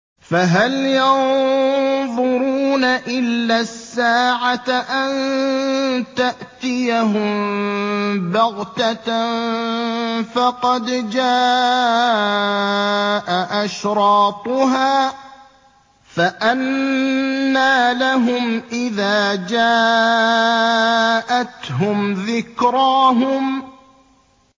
فَهَلْ يَنظُرُونَ إِلَّا السَّاعَةَ أَن تَأْتِيَهُم بَغْتَةً ۖ فَقَدْ جَاءَ أَشْرَاطُهَا ۚ فَأَنَّىٰ لَهُمْ إِذَا جَاءَتْهُمْ ذِكْرَاهُمْ